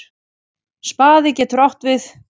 Spaði getur átt við